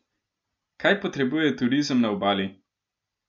Kaj potrebuje turizem na Obali?